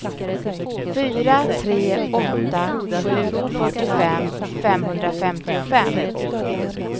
fyra tre åtta sju fyrtiofem femhundrafemtiofem